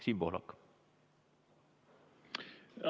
Siim Pohlak!